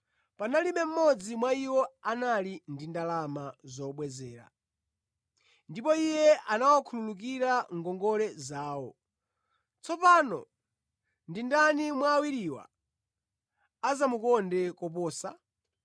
Panalibe mmodzi mwa iwo anali ndi ndalama zobwezera, ndipo iye anawakhululukira ngongole zawo. Tsopano ndi ndani mwa awiriwa adzamukonde koposa?”